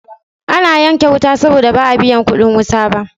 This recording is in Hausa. Ana yanke wuta saboda ba a biyan kuɗin wuta ba.